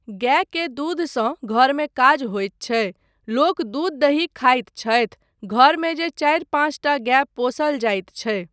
गायके दूधसँ घरमे काज होइत छै, लोक दूध दही खाइत छथि, घरमे जे चारि पाँच टा गाय पोसल जाइत छै।